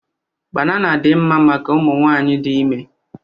Banana dị mma maka ụmụ nwaanyị dị ime.